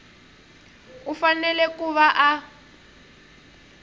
u fanele ku va a